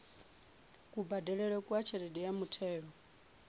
kubadelele kwa tshelede ya muthelo